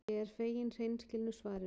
Ég er fegin hreinskilnu svarinu.